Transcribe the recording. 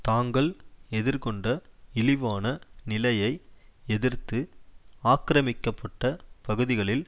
தாங்கள் எதிர்கொண்ட இழிவான நிலையை எதிர்த்து ஆக்கிரமிக்கப்பட்ட பகுதிகளில்